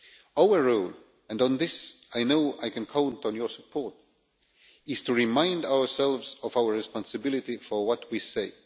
Our role, and on this I know I can count on your support, is to remind ourselves of our responsibility for what we say.